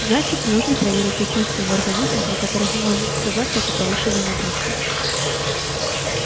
значит нужно проверить те части его организма на которых может сказаться эта повышенная нагрузка